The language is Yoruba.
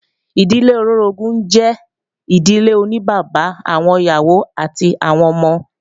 Ìdílé olóorogún jẹ́ ìdílé oní bàbá, àwọn ìyàwó àti àwọn ọmọ